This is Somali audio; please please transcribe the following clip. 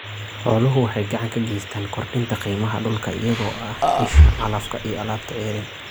Xooluhu waxay gacan ka geystaan ??kordhinta qiimaha dhulka iyagoo ah isha calafka iyo alaabta ceeriin.